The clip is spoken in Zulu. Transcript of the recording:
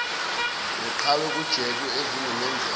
neqhwa kujeke ezomenzela